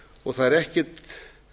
og það er ekkert